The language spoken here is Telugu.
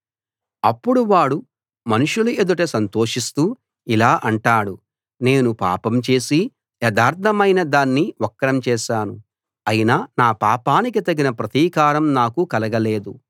అప్పుడు వాడు మనుష్యుల ఎదుట సంతోషిస్తూ ఇలా అంటాడు నేను పాపం చేసి యథార్థమైన దాన్ని వక్రం చేశాను అయినా నా పాపానికి తగిన ప్రతీకారం నాకు కలగలేదు